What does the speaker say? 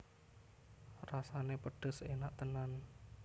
Rasané pedhes enak tenan